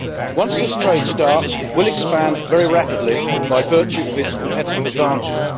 Once this trade starts, it will expand very rapidly by virtue of its competitive advantage.